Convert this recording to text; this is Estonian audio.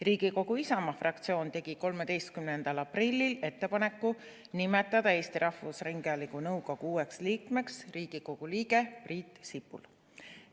Riigikogu Isamaa fraktsioon tegi 13. aprillil ettepaneku nimetada Eesti Rahvusringhäälingu nõukogu uueks liikmeks Riigikogu liige Priit Sibul.